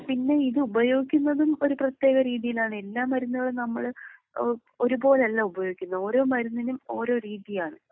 പിന്നെ ഇത് ഉപയോഗിക്കുന്നതും ഒരു പ്രത്യേക രീതിയിലാണ്.എല്ലാ മരുന്നുകളും നമ്മള് ഒരുപോലെയല്ല ഉപയോഗിക്കുന്നത്. ഓരോ മരുന്നിനും ഓരോ രീതിയാണ്.